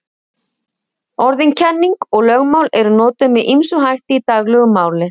Orðin kenning og lögmál eru notuð með ýmsum hætti í daglegu máli.